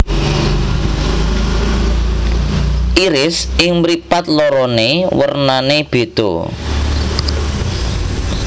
Iris ing mripat lorone wernane bedha